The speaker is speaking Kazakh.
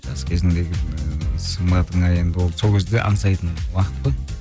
жас кезіңдегі сымбатыңа енді ол сол кезде аңсайтын уақыт қой